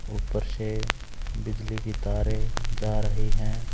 ऊपर से बिजली की तारे जा रही हैं।